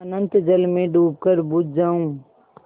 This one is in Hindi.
अनंत जल में डूबकर बुझ जाऊँ